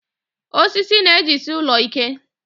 Wood holds the house strong